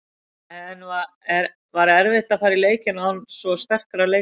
En var erfitt að fara í leikinn án svo sterkra leikmanna?